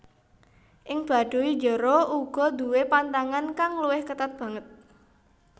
Ing Baduy Jero uga duwé pantangan kang luwih ketat banget